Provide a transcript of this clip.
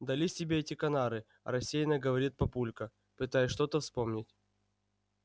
дались тебе эти канары рассеянно говорит папулька пытаясь что-то вспомнить